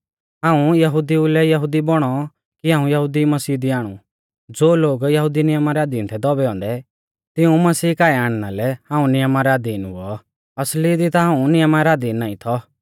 हाऊं यहुदिऊ लै यहुदी बौणौ कि हाऊं यहुदिऊ मसीह दी आणु ज़ो लोग यहुदी नियमा रै अधीन थै दौबै औन्दै तिऊं मसीह काऐ आणना लै हाऊं नियमा रै अधीन हुऔ असली दी ता हाऊं नियमा रै अधीन नाईं थौ